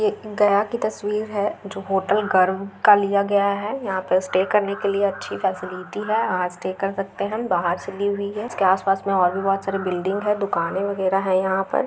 एक गया की तस्वीर है जो होटल गर्व का लिया गया है यहाँ पर स्टे करने के लिए अच्छी फैसिलिटी हैं और स्टे कर सकते हैं बाहर से ली हुई हैं इसके आस-पास में बहुत सारी बिल्डिंग हैं दुकानें वैगरह हैं यहाँ पर।